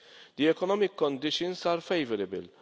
The economic conditions are favourable.